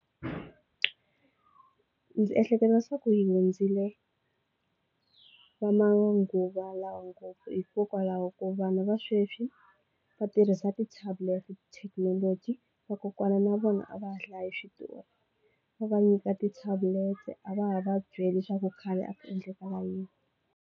Ndzi ehleketa swaku hi hundzile va manguva lawa ngopfu hikokwalaho ko vanhu va sweswi va tirhisa ti-tablet-i thekinoloji vakokwana na vona a va ha hlayi hi switori va va nyika ti-tablet-e a va ha va byela leswaku khale a ku endlekala yini.